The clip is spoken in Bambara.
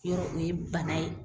Yɔrɔ o ye bana ye